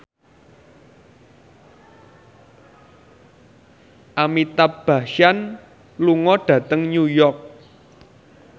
Amitabh Bachchan lunga dhateng New York